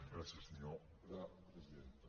gràcies senyora presidenta